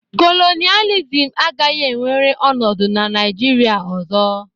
Kolonịalizim agaghị enwere ọnọdụ na Naịjirịa ọzọ.